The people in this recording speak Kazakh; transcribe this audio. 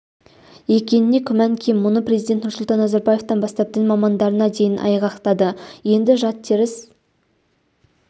екеніне күмән кем мұны президент нұрсұлтан назарбаевтан бастап дін мамандарына дейін айғақтады енді жат теріс